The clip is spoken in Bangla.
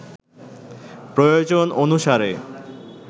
প্রয়োজন অনুসারে